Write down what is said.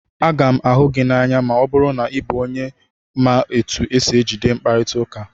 Aga m ahụ gị n'anya ma ọ bụrụ na ị bụ onye otu esi ejide mkparita ụka.